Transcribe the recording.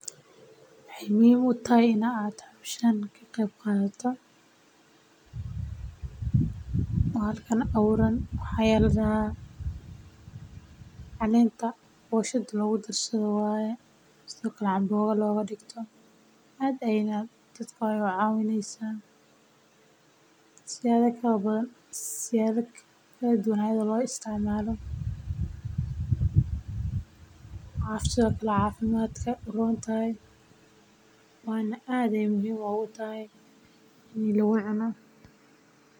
Waxeey muhiim utahay in aad howshan ka qeyb qaato waxaay ku tusi haysa inuu xaqooda hal yahay ama gacan ka geesta nidaaminta cadaadiska.